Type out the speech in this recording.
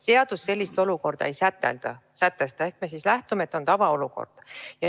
Seadus sellist olukorda ei sätesta ehk me lähtume sellest, et on tavaolukord.